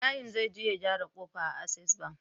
Ibrahim zai je ya gyara kofa a access bank